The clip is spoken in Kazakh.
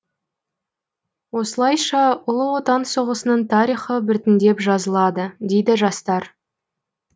осылайша ұлы отан соғысының тарихы біртіндеп жазылады дейді жастар